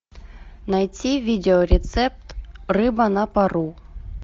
найти видеорецепт рыба на пару